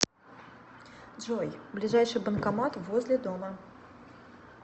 джой ближайший банкомат возле дома